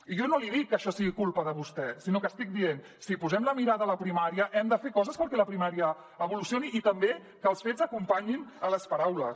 i jo no li dic que això sigui culpa de vostè sinó que estic dient si posem la mirada a la primària hem de fer coses perquè la primària evolucioni i també que els fets acompanyin les paraules